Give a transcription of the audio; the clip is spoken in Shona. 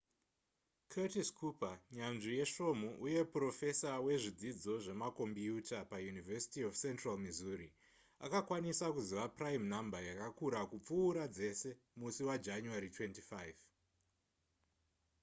curtis cooper nyanzvi yesvomhu uye purofesa wezvidzidzo zvemakombiyuta pauniversity of central missouri akakwanisa kuziva prime number yakakura kupfuura dzese musi wajanuary 25